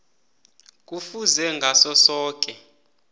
kufuze ngaso soke